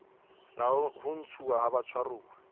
la ho ntshuwa ha batshwaruwa